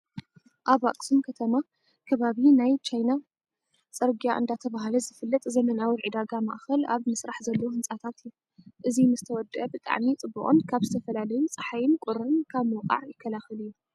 ኣብ ኣብ ኣኽሱም ከተማ ከባቢ ናይ ቻይና ፅርግያ እንዳተባሀለ ዝፍለጥ ዘመናዊ ዕዳጋ ማእከል ኣብ ምስራሕ ዘሎ ህንፃታት እዩ። እዚ ምስ ተወደኣ ብጣዕሚ ፅቡቅን ካብ ዝተፈላለዩ ፀሓይን ቁርን ካብ ምውካዕ ይከላከል እዩ።